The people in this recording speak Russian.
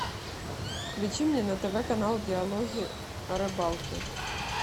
включи мне на тв канал диалоги о рыбалке